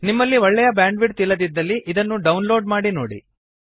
ನಿಮ್ಮಲ್ಲಿ ಒಳ್ಳೆಯ ಬ್ಯಾಂಡ್ವಿಡ್ತ್ ಇಲ್ಲದಿದ್ದಲ್ಲಿ ಇದನ್ನು ಡೌನ್ಲೋಡ್ ಮಾಡಿ ನೋಡಿ